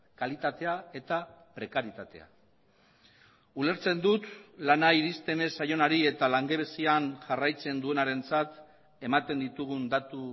kalitatea eta prekarietatea ulertzen dut lana iristen ez zaionari eta langabezian jarraitzen duenarentzat ematen ditugun datu